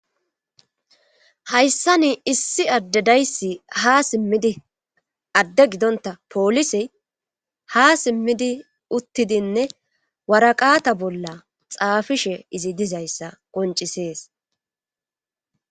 hayssa ni issi adde dayssi ha simmidi adde gidonta poolisey ha simmidi uttidinne waraqata bolla xaafishe izi dizayssa qoncisees